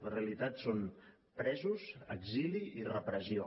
la realitat són presos exili i repressió